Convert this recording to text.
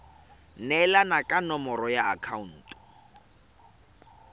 neelana ka nomoro ya akhaonto